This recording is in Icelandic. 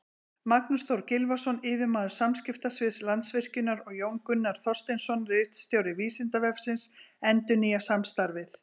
Magnús Þór Gylfason, yfirmaður samskiptasviðs Landsvirkjunar, og Jón Gunnar Þorsteinsson, ritstjóri Vísindavefsins, endurnýja samstarfið.